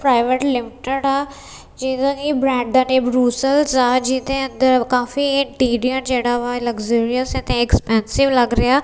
Private limited ਆ ਜਿਹਦਾ ਕਿ ਬਰੈਡ ਦਾ ਨਾ ਰੂਸਲ ਆ ਜਿਹਦੇ ਅੰਦਰ ਕਾਫੀ ਇੰਟੀਰੀਅਲ ਜਿਹੜਾ ਐਕਸਪੈਂਸਿਵ ਲੱਗ ਰਿਹਾ।